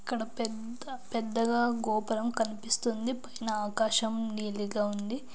ఇక్కడ పెద్ద పెద్దగా గోపురం కనిపిస్తుంది. పైన ఆకాశం నీలిగా ఉంది.